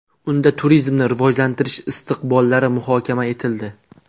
Unda turizmni rivojlantirish istiqbollari muhokama etildi.